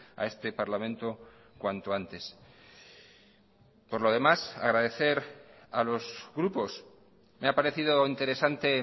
a este parlamento cuanto antes por lo demás agradecer a los grupos me ha parecido interesante